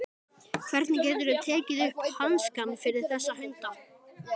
Hvernig geturðu tekið upp hanskann fyrir þessa hunda?